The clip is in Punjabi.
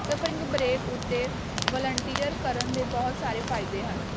ਸਪਰਿੰਗ ਬਰੇਕ ਉੱਤੇ ਵਲੰਟੀਅਰ ਕਰਨ ਦੇ ਬਹੁਤ ਸਾਰੇ ਫਾਇਦੇ ਹਨ